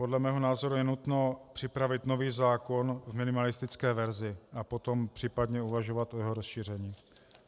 Podle mého názoru je nutno připravit nový zákon v minimalistické verzi a potom případně uvažovat o jeho rozšíření.